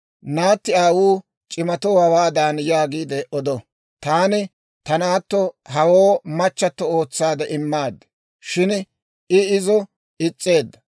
Naatti aawuu c'imatoo hawaadan yaagiide odo, ‹Taani ta naatto hawoo machche ootsaade immaad; shin I izo is's'eedda.